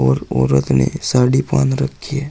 और औरत ने साड़ी पहन रखी है।